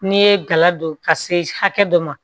N'i ye gala don ka se hakɛ dɔ ma